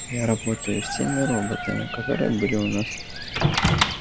я работаю с теми роботами которые были у нас